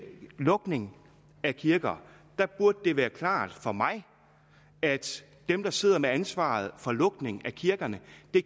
lukning af kirker burde det være klart for mig at dem der sidder med ansvaret for lukning af kirkerne